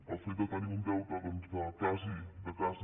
el fet de tenir un deute doncs de quasi